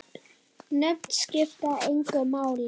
Nöfn skipta engu máli.